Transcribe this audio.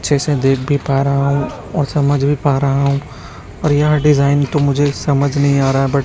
जैसे देख भी पा रहा हूं और समझ भी पा रहा हूं पर यह डिजाइन तो मुझे समझ नहीं आ रहा बट --